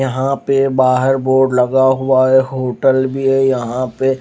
यहाँ पे बोर्ड लगा हुआ है होटल भी है यहाँ पे--